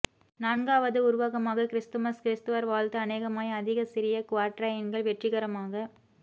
நான்காவது உருவகமாக கிறிஸ்துமஸ் கிரிஸ்துவர் வாழ்த்து அநேகமாய் அதிக சிறிய குவாட்ரைன்கள் வெற்றிகரமாக